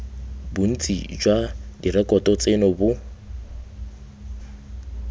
bontsi jwa direkoto tseno bo